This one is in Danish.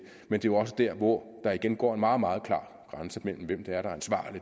er jo også der hvor der igen går en meget meget klar grænse mellem hvem